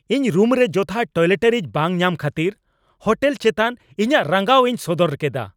ᱤᱧ ᱨᱩᱢ ᱨᱮ ᱡᱚᱛᱷᱟᱛ ᱴᱚᱭᱞᱮᱴᱟᱨᱤᱡ ᱵᱟᱝ ᱧᱟᱢ ᱠᱷᱟᱹᱛᱤᱨ ᱦᱳᱴᱮᱞ ᱪᱮᱛᱟᱱ ᱤᱧᱟᱹᱜ ᱨᱟᱸᱜᱟᱣ ᱤᱧ ᱥᱚᱫᱚᱨ ᱠᱮᱫᱟ ᱾